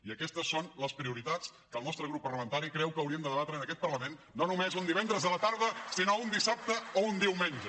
i aquestes són les prioritats que el nostre grup parlamentari creu que hauríem de debatre en aquest parlament no només un divendres a la tarda sinó un dissabte o un diumenge